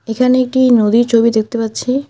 এখানে একটি নদীর ছবি দেখতে পাচ্ছি।